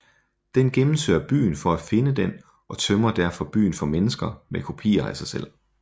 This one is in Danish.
Den gennemsøger byen for at finde den og tømmer derfor byen for mennesker med kopier af sig selv